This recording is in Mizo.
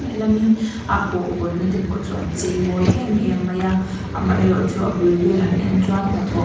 lehlamin a pawh hawnna te pawh chu an chei mawi em em mai a amah erawh chu a bul vel han en chuan hna thawh--